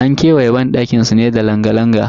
An kewaye banɗakin su ne da langa-langa.